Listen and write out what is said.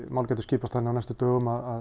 mál gætu skipast þannig á næstu dögum að